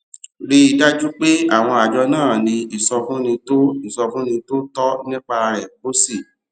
rí i dájú pé àwọn àjọ náà ní ìsọfúnni tó ìsọfúnni tó tọ nípa rẹ kó o sì